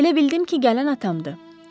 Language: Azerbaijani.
Elə bildim ki, gələn atamdı.